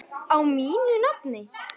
Á mínu nafni?